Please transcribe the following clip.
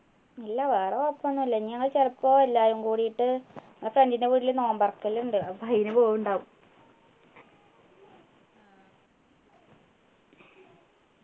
ഇല്ല വേറെ കുഴപ്പൊന്നും ഇല്ല ഇനി ഞങ്ങൾ ചെലപ്പോ എല്ലാരും കൂടിട്ട് ഏർ friend ൻ്റെ വീട്ടില് നോമ്പ് തുറക്കല് ഉണ്ട് അപ്പൊ അയിന് പോവുണ്ടാവും